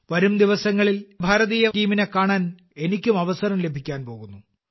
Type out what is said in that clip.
വരും ദിവസങ്ങളിൽ ഭാരതീയ ടീമിനെ കാണാൻ എനിക്കും അവസരം ലഭിക്കാൻ പോകുന്നു